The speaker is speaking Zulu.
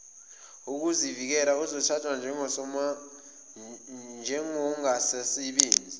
wokuzivikela uzothathwa njengongasasebenzi